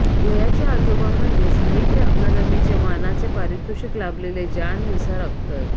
झोयाचे आजोबा म्हणजे साहित्य अकादमीचं मानाचं पारितोषिक लाभलेले जान निसार अख्तर